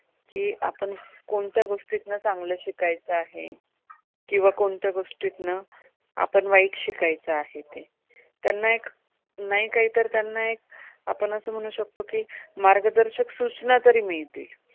कोणत्या गोष्टी तून चांगलं शिकायचं आहे? किंवा कोणत्या गोष्टीतून आपण वाईट शिकायचं आहे ते? त्यांना एक नाहीतर त्यांना एक आपण असं म्हणू शकतो की मार्गदर्शक सूचना तरी मिळतील.